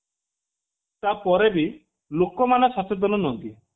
ତା ପରେ ବି ଲୋକମାନେ ସଚେତନ ନୁହନ୍ତି